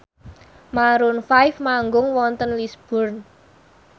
Maroon 5 manggung wonten Lisburn